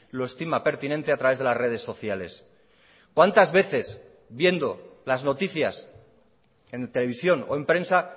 lo estima pertinente a través de las redes sociales cuántas veces viendo las noticias en televisión o en prensa